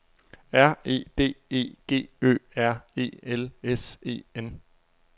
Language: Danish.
R E D E G Ø R E L S E N